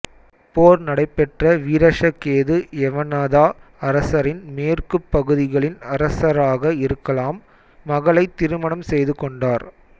போர் நடைபெற்ற வீரஷகேது யவனதா அரசரின் மேற்குப் பகுதிகளின் அரசராக இருக்கலாம் மகளைத் திருமணம் செய்துகொண்டார்